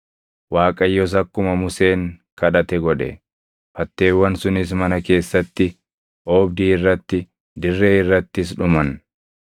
Waaqayyos akkuma Museen kadhate godhe. Fatteewwan sunis mana keessatti, oobdii irratti, dirree irrattis dhuman.